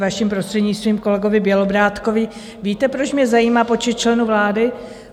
Vaším prostřednictvím, kolegovi Bělobrádkovi, víte, proč mě zajímá počet členů vlády?